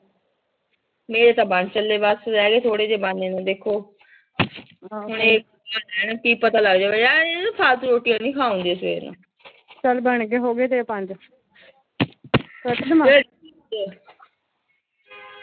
ਮੇਰੇ ਤਾਂ ਬਣ ਚੱਲੇ ਬਸ। ਰਹਿਗੇ ਥੋੜ੍ਹੇ ਜੇ ਬਣਨੇ ਨੂੰ ਦੇਖੋ ਫਾਲਤੂ ਰੋਟੀਆਂ ਨੂੰ ਖਾਓਂਗੇ ਫਿਰ। ਚਲ ਬਣ ਗਿਆ ਹੋਗਿਆ ਤੇਰੇ ਪੰਜ